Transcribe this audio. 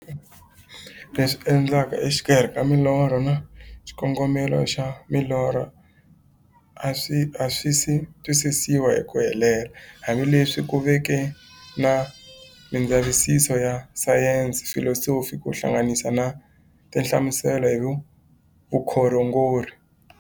Leswi endlekaka e xikarhi ka milorho na xikongomelo xa milorho a swisi twisisiwa hi ku helela, hambi leswi ku veke na mindzavisiso ya sayensi, filosofi ku hlanganisa na tinhlamuselo hi vukhongori.